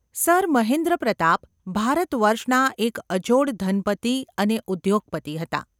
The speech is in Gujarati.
સર મહેન્દ્રપ્રતાપ ભારતવર્ષના એક અજોડ ધનપતિ અને ઉદ્યોગપતિ હતા.